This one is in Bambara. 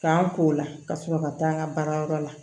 K'an k'o la ka sɔrɔ ka taa n ka baarayɔrɔ la